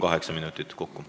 Kaheksa minutit kokku.